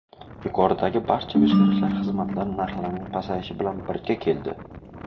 Yuqoridagi barcha o‘zgarishlar xizmatlar narxlarining pasayishi bilan birga keldi.